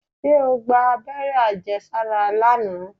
Ṣé o gba abẹ́rẹ́ àjẹsára lánàá?